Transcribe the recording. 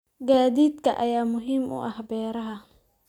Gaadiidka ayaa muhiim u ah beeraha.